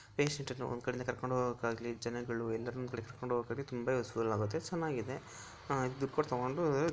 Patient ಅನ್ನು ಒಂದು ಕಡೆಯಿಂದ ಕರ್ಕೊಂಡು ಜನಗಳು ಯಲರನ್ನು ಕುಳಿತುಕೊಳ್ಳಲು ತುಂಬ ಉಸ್ಸುಫುಲ್ ಆಗುತೆ ಚೆನ್ನಾಗಿದೆ ದುಡ್ಡು ಕೊಟ್ಟು ತಗೋಬಹುದು.